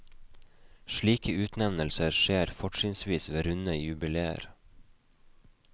Slike utnevnelser skjer fortrinnsvis ved runde jubileer.